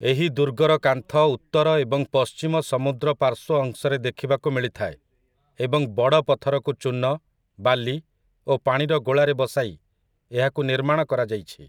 ଏହି ଦୁର୍ଗର କାନ୍ଥ ଉତ୍ତର ଏବଂ ପଶ୍ଚିମ ସମୁଦ୍ର ପାର୍ଶ୍ୱ ଅଂଶରେ ଦେଖିବାକୁ ମିଳିଥାଏ ଏବଂ ବଡ଼ ପଥରକୁ ଚୂନ, ବାଲି ଓ ପାଣିର ଗୋଳାରେ ବସାଇ ଏହାକୁ ନିର୍ମାଣ କରାଯାଇଛି ।